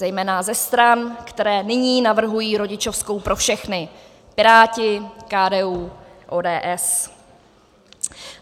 Zejména ze stran, které nyní navrhují rodičovskou pro všechny - Piráti, KDU, ODS.